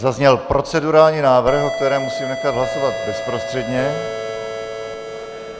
Zazněl procedurální návrh, o kterém musím nechat hlasovat bezprostředně.